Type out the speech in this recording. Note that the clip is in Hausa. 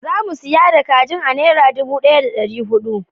Zamu siya da kajin a naira dubu daya da dari hudu